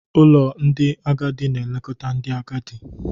Ụlọ ndị agadi na-elekọta ndị agadi.